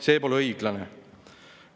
See pole õiglane!